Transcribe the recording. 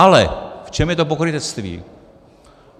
Ale v čem je to pokrytectví?